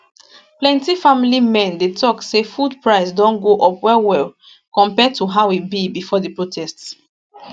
plenty family men dey tok say food price don go up well well compare to how e be bifor di protest